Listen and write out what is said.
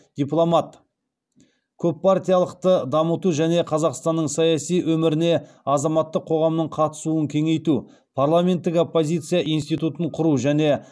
дипломат көппартиялықты дамыту және қазақстанның саяси өміріне азаматтық қоғамның қатысуын кеңейту парламенттік оппозиция институтын құру және